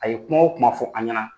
A ye kuma o kuma fɔ an ɲɛna